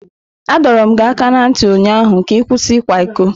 Adọrum gi aka na nti ụnyaahụ ka ị kwụsị ịkwa iko!